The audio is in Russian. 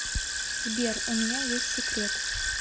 сбер у меня есть секрет